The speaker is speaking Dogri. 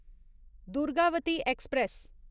दुर्गावती ऐक्सप्रैस